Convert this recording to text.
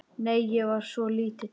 Nei, ég var svo lítil.